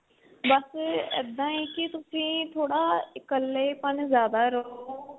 ਬੱਸ ਇੱਦਾਂ ਏ ਕੇ ਤੁਸੀਂ ਥੋੜਾ ਇੱਕਲੇਪਨ ਜਿਆਦਾ ਰਹੋ